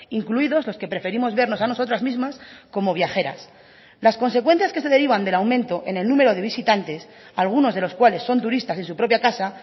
incluidos los que preferimos vernos a nosotras mismas como viajeras las consecuencias que se derivan del aumento en el número de visitantes algunos de los cuales son turistas en su propia casa